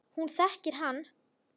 Hún þekkir hann.